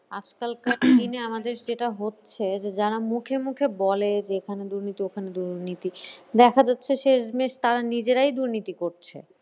Coughing আজকালকার দিনে আমাদের যেটা হচ্ছে যে যারা মুখে মুখে বলে যে এখানে দুর্নীতি ওখানে দুর্নীতি দেখা যাচ্ছে শেষ মেশ তারা নিজেরাই দুর্নীতি করছে।